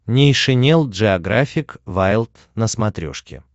нейшенел джеографик вайлд на смотрешке